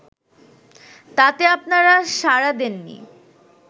তাতে আপনারা সাড়া দেননি